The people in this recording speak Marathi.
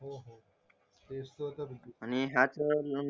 आणि ह्या तर